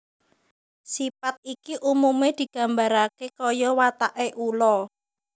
Sipat iki umume digambarake kaya watake ula